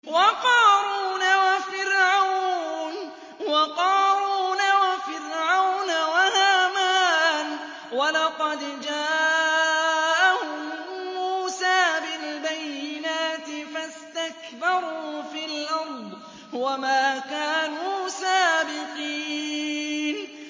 وَقَارُونَ وَفِرْعَوْنَ وَهَامَانَ ۖ وَلَقَدْ جَاءَهُم مُّوسَىٰ بِالْبَيِّنَاتِ فَاسْتَكْبَرُوا فِي الْأَرْضِ وَمَا كَانُوا سَابِقِينَ